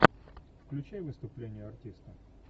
включай выступление артиста